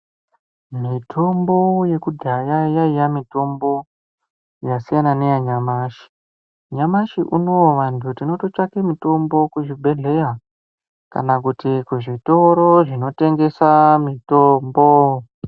Mutombo yekudhaya yaiya mitombo yasiyana neyanyamashi. Nyamashi unoo vantu tinototsvake mutombo kuzvibhehleya kana kuti kuzvitoro zvinotengesa mitombo.